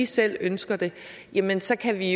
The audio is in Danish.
selv ønsker det jamen så kan vi